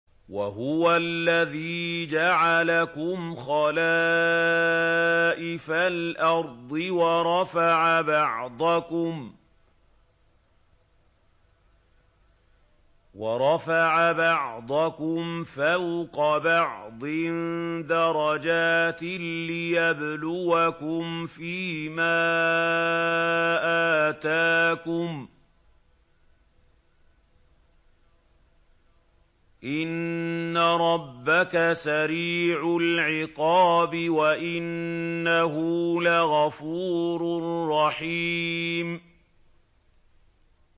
وَهُوَ الَّذِي جَعَلَكُمْ خَلَائِفَ الْأَرْضِ وَرَفَعَ بَعْضَكُمْ فَوْقَ بَعْضٍ دَرَجَاتٍ لِّيَبْلُوَكُمْ فِي مَا آتَاكُمْ ۗ إِنَّ رَبَّكَ سَرِيعُ الْعِقَابِ وَإِنَّهُ لَغَفُورٌ رَّحِيمٌ